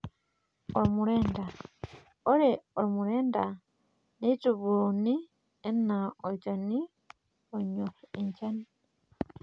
Ormurenda:Ore ormurendaa neitubuuni enaa olchani onyor enchan.